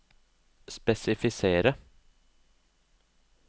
spesifisere